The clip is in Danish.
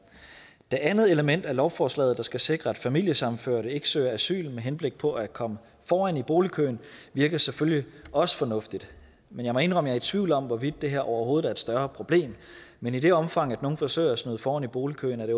det andet element i lovforslaget der skal sikre at familiesammenførte ikke søger asyl med henblik på at komme foran i boligkøen virker selvfølgelig også fornuftigt men jeg må indrømme er i tvivl om hvorvidt det her overhovedet er et større problem men i det omfang at nogle forsøger sig foran i boligkøen er det